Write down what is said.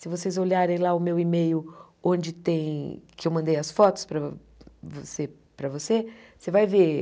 Se vocês olharem lá o meu e-mail, onde tem que eu mandei as fotos para você para você, você vai ver.